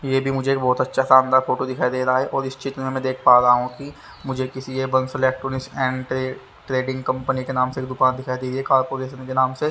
ये भी मुझे बोहोत आछ्या सा अंदर फोटो दिखाई दे रहा है और इस चित्र में मै देख पा रहा हु की एंड ट्रेडिंग कंपनी के नाम से दुकान दिखाई दे रही है कारपोरेशन के नाम से --